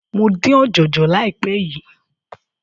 Mo dín ọ̀jọ̀jọ̀ láìpé yìí.